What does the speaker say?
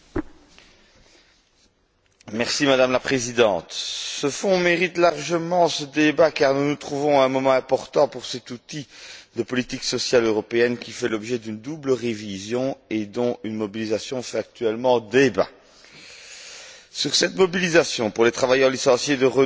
Madame la Présidente, ce Fonds mérite largement ce débat car nous nous trouvons à un moment important pour cet outil de politique sociale européenne, qui fait l'objet d'une double révision et dont une mobilisation fait actuellement débat. Concernant cette mobilisation pour les travailleurs de Renault licenciés en France, le cas est révélateur